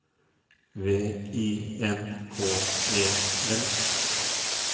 V I N K E L